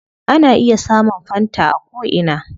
Ana iya samun fanta a ko ina